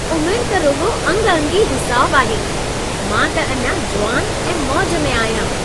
उमरि त रुॻो अंग-अंगी हिसाबु आहे। मां त अञा जुवान ऐं मौज में आहियां।